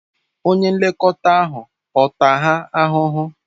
Onye nlekọta ahụ ọ̀ taa ha ahụhụ?